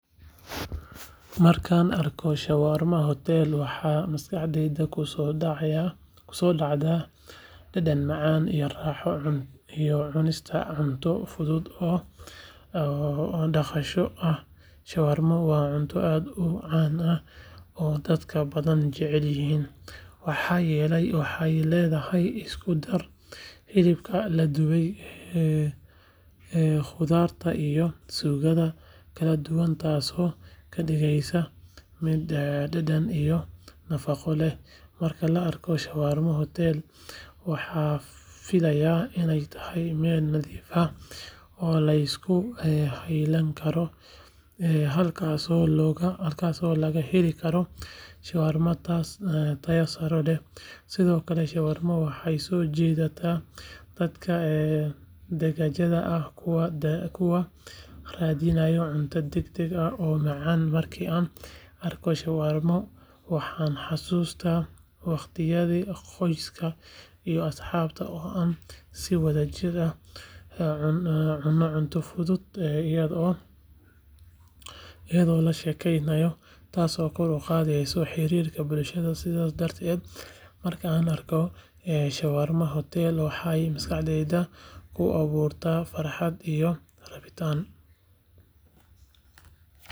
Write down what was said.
Markaan arko shawarma hoteel waxaa maskaxdayda ku soo dhacda dhadhan macaan iyo raaxo cunista cunto fudud oo dhakhso ah shawarma waa cunto aad u caan ah oo dadka badan jecel yihiin maxaa yeelay waxay leedahay isku darka hilibka la dubay khudradda iyo suugada kala duwan taasoo ka dhigaysa mid dhadhan iyo nafaqo leh marka la arko shawarma hoteel waxaan filayaa inay tahay meel nadiif ah oo la isku halayn karo halkaasoo laga heli karo shawarma tayo sare leh sidoo kale shawarma waxay soo jiidataa dadka gaajada ah kuwa raadinaya cunto degdeg ah oo macaan markii aan arko shawarma waxaan xasuustaa wakhtiyada qoyska iyo asxaabta oo aan si wadajir ah u cunno cunto fudud iyadoo la sheekaysanayo taasoo kor u qaadaysa xiriirka bulshada sidaas darteed marka aan arko shawarma hoteel waxay maskaxdayda ku abuureysaa farxad iyo rabitaan.